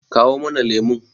kawo mana lemon!